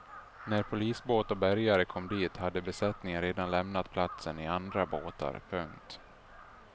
När polisbåt och bärgare kom dit hade besättningen redan lämnat platsen i andra båtar. punkt